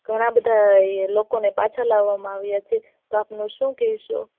ઘણા બધા લોકો ને પાછા લાવમાં આવિયા છે શું કઈ છે